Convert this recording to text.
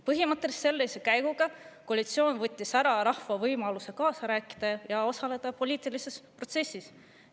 Põhimõtteliselt võttis koalitsioon sellise käiguga rahvalt võimaluse kaasa rääkida, poliitilises protsessis osaleda.